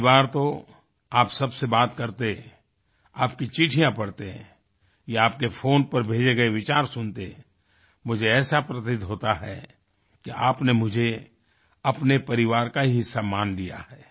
कई बार तो आप सब से बात करते आपकी चिठ्ठियाँ पढ़ते या आपके फोन पर भेजे गए विचार सुनते मुझे ऐसा प्रतीत होता है कि आपने मुझे अपने परिवार का ही हिस्सा मान लिया है